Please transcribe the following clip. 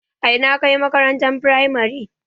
A ina ka yi makarantar firamare?